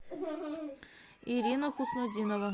ирина хуснутдинова